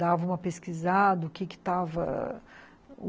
Dava uma pesquisada. O que que estava